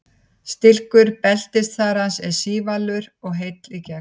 Stilkur beltisþara er sívalur og heill í gegn.